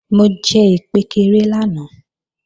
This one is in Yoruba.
Mo jẹ ìkpékeré lánàá